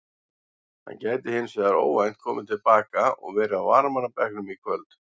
Hann gæti hins vegar óvænt komið til baka og verið á varamannabekknum í kvöld.